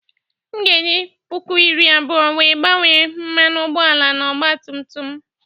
M ga-eji puku iri abụọ wee gbanye mmanụ ụgbọala n'ọgba tum tum m.